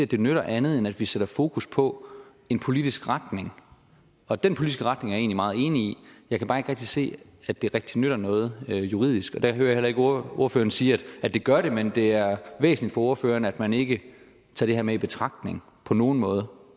det nytter andet end at vi sætter fokus på en politisk retning og den politiske retning er meget enig i jeg kan bare ikke rigtig se at det rigtig nytter noget juridisk og det hører jeg heller ikke ordføreren sige at det gør men at det er væsentligt for ordføreren at man ikke tager det her med i betragtning på nogen måde